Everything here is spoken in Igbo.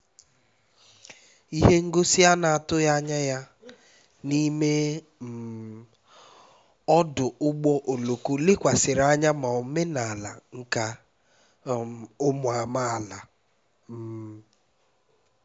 ihe ngosi a na-atụghị anya ya n'ime um ọdụ ụgbọ oloko lekwasịrị anya na omenala nka um ụmụ amaala um